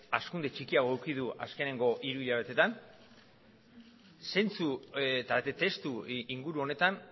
hazkunde txikiagoa izan du azkeneko hiruhilabetean zentzu eta testuinguru honetan